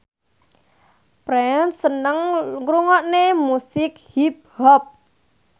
Prince seneng ngrungokne musik hip hop